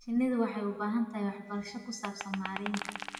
Shinnidu waxay u baahan tahay waxbarasho ku saabsan maaraynta.